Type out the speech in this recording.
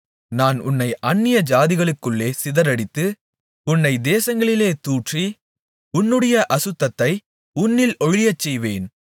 நான் உன்னைப் அந்நியஜாதிகளுக்குள்ளே சிதறடித்து உன்னை தேசங்களிலே தூற்றி உன்னுடைய அசுத்தத்தை உன்னில் ஒழியச்செய்வேன்